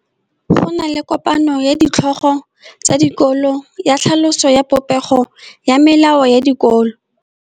Go na le kopanô ya ditlhogo tsa dikolo ya tlhaloso ya popêgô ya melao ya dikolo.